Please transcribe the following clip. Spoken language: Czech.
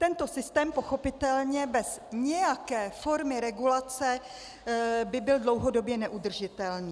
Tento systém pochopitelně bez nějaké formy regulace by byl dlouhodobě neudržitelný.